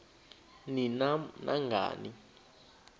ni nam nangani